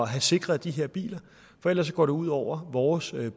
have sikret de her biler for ellers går det ud over vores